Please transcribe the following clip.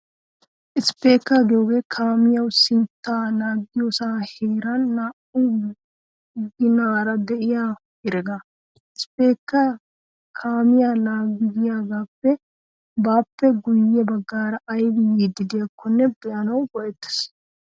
Isppeekkaa giyogee kaamiyawu sintta laaggiyosaa heeran naa'u ginaara de'iya heregaa. Ispeekkaa kaamiyaa laaggiyagee baappe guyye baggaara aybi yiiddi de'iyaakko be'anawu go'ettees.